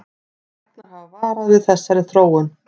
Læknar hafa varað við þessari þróun